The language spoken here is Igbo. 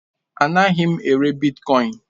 Anaghị m ere bitkọin.